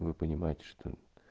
вы понимаете что